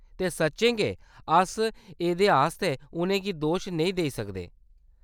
ते सच्चें गै अस एह्‌‌‌देआस्तै उʼनें गी दोश नेईं देई सकदे।